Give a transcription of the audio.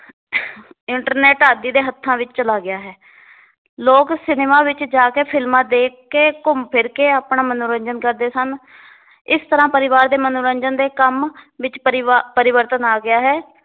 internet ਆਦਿ ਦੇ ਹੱਥਾਂ ਵਿਚ ਚਲਾ ਗਿਆ ਹੈ ਲੋਗ ਸਿਨੇਮਾ ਵਿਚ ਜਾ ਕੇ ਫ਼ਿਲਮਾਂ ਦੇਖ ਕੇ ਘੁੰਮ ਫਿਰ ਕੇ ਆਪਣਾ ਮਨੋਰੰਜਨ ਕਰਦੇ ਸਨ ਇਸ ਤਰ੍ਹਾਂ ਪਰਿਵਾਰ ਦੇ ਮਨੋਰੰਜਨ ਦੇ ਕੰਮ ਵਿੱਚ ਪਰਿਵਾ ਪਰਿਵਰਤਨ ਆ ਗਿਆ ਹੈ l